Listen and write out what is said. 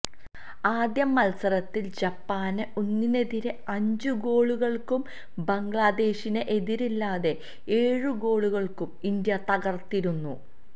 ആദ്യ മത്സരത്തില് ജപ്പാനെ ഒന്നിനെതിരേ അഞ്ചു ഗോളുകള്ക്കും ബംഗ്ലാദേശിനെ എതിരില്ലാത്ത ഏഴു ഗോളുകള്ക്കും ഇന്ത്യ തകർത്തിരുന്നു